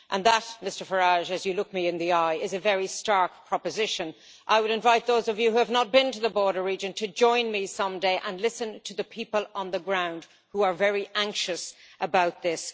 And that Mr Farage, as you look me in the eye is a very stark proposition. I would invite those of you who have not been to the border region to join me someday and listen to the people on the ground, who are very anxious about this.